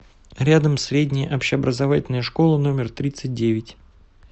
рядом средняя общеобразовательная школа номер тридцать девять